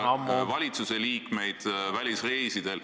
Marko Mihkelson, teie aeg on juba ammu läbi!